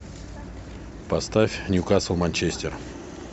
поставь ньюкасл манчестер